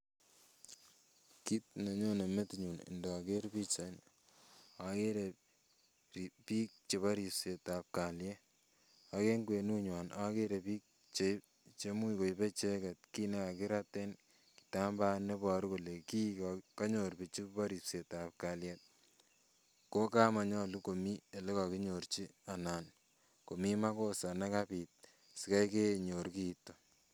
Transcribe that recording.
Kit nenyone metinyun ndoker pichaini okere biik chebo ripsetab kalyet ak eng kwenunywan okere biik chei cheimuch koibe icheket kit nekakirat eng kitambaen neboru kole kii konyor bichu bo ripsetab kalyet kokamonyolu komii elekokinyorchi anan komii makosa nekabit sikaikenyor kiiton